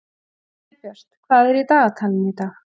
Snæbjört, hvað er í dagatalinu í dag?